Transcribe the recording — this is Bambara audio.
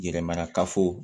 Yɛrɛ marakafo